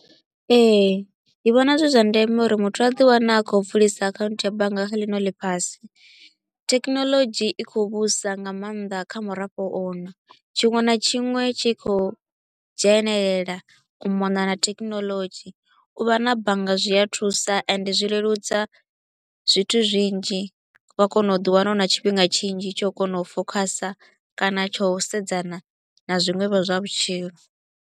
Ee, ndi vhona zwi zwa ndeme uri muthu a ḓi wane a kho u bvulisa account ya bannga kha ḽino ḽifhasi. Technology i kho u vhusa nga maanḓa kha murafho uno, tshiṅwe na tshiṅwe tshi kho u dzhenelela u mona na technology, u vha na bannga zwi a thusa and zwi leludza zwithu zwinzhi wa kona u ḓi wana u na tshifhinga tshinzhi tsha u kona u focuser kana tsha u sedzana na zwiṅwe vho zwa vhutshilo.